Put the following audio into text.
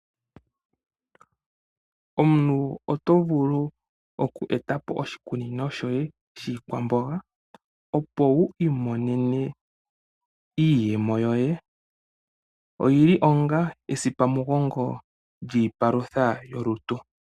Omuntu oto vulu oku etapo oshikunino shoye shiikwamboga opo wu imonene iiyemo yoye. Oyili wo ongaa esipamugongo lyolutu.